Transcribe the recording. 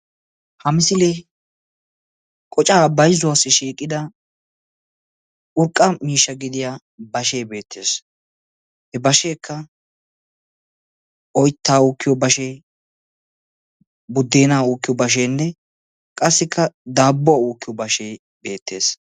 Ha misilee qocaa bayzuwaassi shiiqida urqqa miishsha gidiya bashee beettees. He basheekka oyttaa uukkiyo bashee, buddeenaa uukkiyo basheenne qassikka daabbuwa uukkiyo bashee beettees.